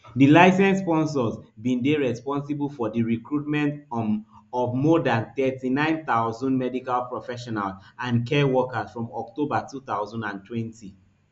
di licensed sponsors bin dey responsible for di recruitment um of more dan thirty-nine thousand medical professionals and care workers from october two thousand and twenty